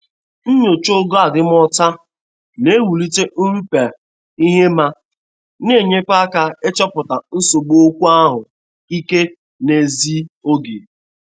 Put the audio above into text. Nyocha ogo adimọcha na- ewulite nrụpụa ihema.na-enyekwa aka ichọpụta nsogbu okwu ahụ ike n'ezi oge.